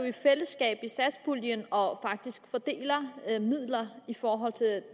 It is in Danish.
i fællesskab i satspuljen og fordeler midler i forhold til